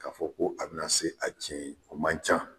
K'a fɔ ko a bɛna se a tiɲɛ ye o man ca.